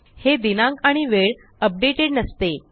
हे दिनांक आणि वेळ अपडेटेड नसते